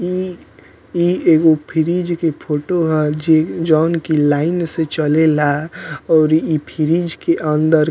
इ एगो फ्रीज़ के फोटो ह जे जोन कि लाइन से चलेला और इ फ्रीज़ के अंदर --